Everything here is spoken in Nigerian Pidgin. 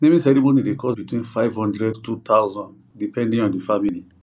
naming ceremony dey cost between five hundred two thousand depending on di family